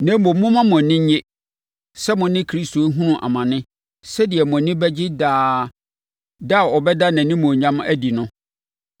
Na mmom, momma mo ani nnye sɛ mo ne Kristo rehunu amane sɛdeɛ mo ani bɛgye daa da a ɔbɛda nʼanimuonyam adi no.